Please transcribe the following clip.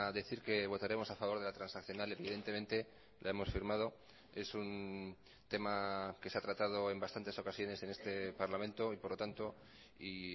decir que votaremos a favor de la transaccional evidentemente la hemos firmado es un tema que se ha tratado en bastantes ocasiones en este parlamento y por lo tanto y